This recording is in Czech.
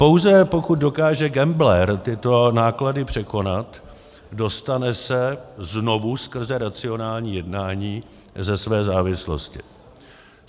Pouze pokud dokáže gambler tyto náklady překonat, dostane se znovu skrze racionální jednání ze své závislosti.